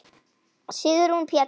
Sigrún Péturs.